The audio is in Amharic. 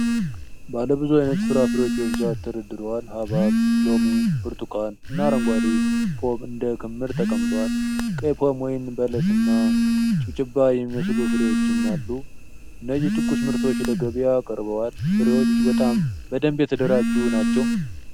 ባለ ብዙ ዓይነት ፍራፍሬዎች በብዛት ተደርድረዋል። ሐብሐብ፣ ሎሚ፣ ብርቱካን እና አረንጓዴ ፖም እንደ ክምር ተቀምጠዋል። ቀይ ፖም፣ ወይን፣ በለስ እና ጭብጭባ የሚመስሉ ፍሬዎችም አሉ። እነዚህ ትኩስ ምርቶች ለገበያ ቀርበዋል። ፍሬዎቹ በጣም በደንብ የተደራጁ ናቸው።